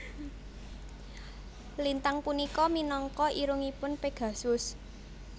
Lintang punika minangka irungipun Pegasus